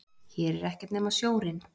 Hér er ekkert nema sjórinn.